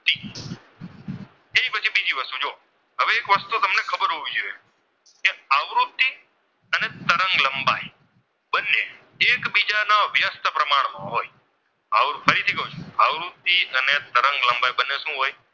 માં હોય આવૃત્તિ ફરીથી કહું છું આવૃ અને તરંગ લંબાઈ બંને શું હોય?